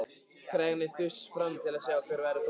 Krakkarnir þustu fram til að sjá hver væri kominn.